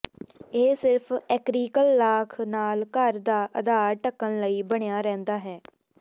ਇਹ ਸਿਰਫ਼ ਐਕ੍ਰੀਕਲ ਲਾਖ ਨਾਲ ਘਰ ਦਾ ਅਧਾਰ ਢੱਕਣ ਲਈ ਬਣਿਆ ਰਹਿੰਦਾ ਹੈ